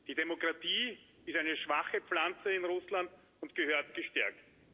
Die Demokratie ist eine schwache Pflanze in Russland und gehört gestärkt.